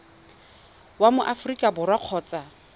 wa mo aforika borwa kgotsa